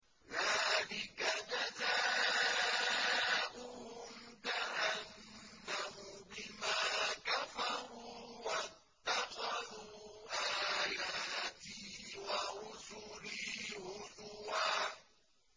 ذَٰلِكَ جَزَاؤُهُمْ جَهَنَّمُ بِمَا كَفَرُوا وَاتَّخَذُوا آيَاتِي وَرُسُلِي هُزُوًا